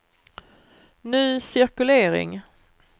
ny cirkulering